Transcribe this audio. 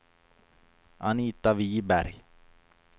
Anita Wiberg